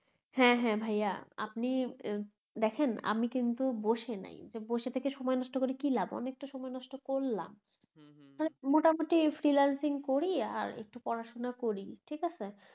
হ্যা হ্যা ভাইয়া আপনি দেখেন আমি কিন্তু বসে নাই বসে থেকে সময় নষ্ট করে কি লাভ অনেকটা সময় নষ্ট করলাম মোটামুটি freelancing করি আর একটু পড়াশোনা করি ঠিকাছে